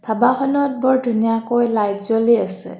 ধাবা খনত বৰ ধুনীয়াকৈ লাইট জ্বলি আছে।